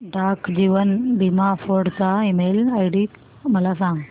डाक जीवन बीमा फोर्ट चा ईमेल आयडी मला सांग